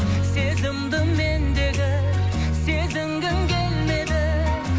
сезімді мендегі сезінгің келмеді